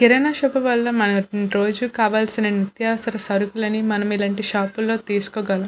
కిరాణా shop వల్ల మనకి రోజు కావాల్సిన నిత్యావసర సరుకులు అనేవి మనం ఇలాంటి షాప్ లో తీసుకోగలం.